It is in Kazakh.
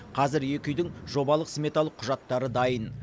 қазір екі үйдің жобалық сметалық құжаттары дайын